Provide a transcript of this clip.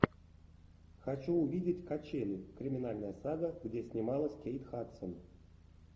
хочу увидеть качели криминальная сага где снималась кейт хадсон